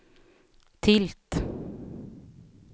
tilt